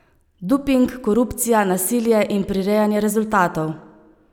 Doping, korupcija, nasilje in prirejanje rezultatov.